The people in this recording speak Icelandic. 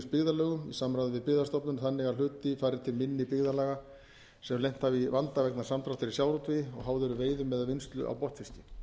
byggðarlögum í samráði við byggðastofnun þannig að hluti fari til minni byggðarlaga sem lent hafa í vanda vegna samdráttar í sjávarútvegi og háð eru veiðum eða vinnslu á botnfiski